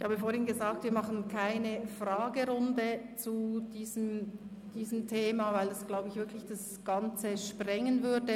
Ich habe vorhin gesagt, dass wir keine Fragerunde zu diesem Thema machen, weil das, wie ich glaube, den Rahmen des Ganzen wirklich gesprengt würde.